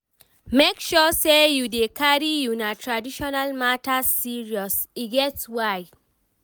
make sure say you dey carry una traditional matters serious, e get why.